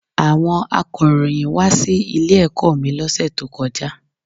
Àwon akọ̀ròyìn wá sí ilé ẹ̀kọ́ mi lọ́sẹ̀ tó kọjá